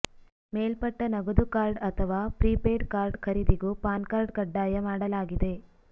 ಮೇಲ್ಪಟ್ಟ ನಗದು ಕಾರ್ಡ್ ಅಥವಾ ಪ್ರೀಪೇಯ್ಡ ಕಾರ್ಡ್ ಖರೀದಿಗೂ ಪಾನ್ಕಾರ್ಡ್ ಕಡ್ಡಾಯ ಮಾಡಲಾಗಿದೆ